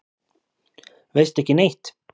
Veistu ekki neitt?